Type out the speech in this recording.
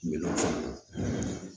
Minɛnw fara